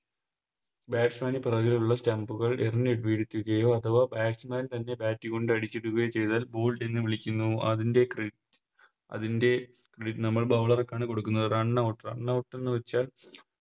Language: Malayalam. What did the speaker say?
Btasman പുറകെയുള്ള Stump കൾ എറിഞ്ഞ് വീഴ്ത്തുകയോ അഥവാ Batsman തൻറെ Bat കൊണ്ട് അടിച്ചിടുകയോ ചെയ്‌താൽ Bowled എന്ന് വിളിക്കുന്നു അതിൻറെ അതിൻറെ നമ്മൾ Bowler ക്കാണ് കൊടുക്കുന്നത് Runout runout എന്ന് വെച്ചാൽ